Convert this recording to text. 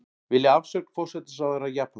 Vilja afsögn forsætisráðherra Japans